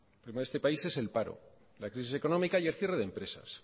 el problema de este país es el paro la crisis económica y el cierre de empresas